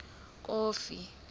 kofi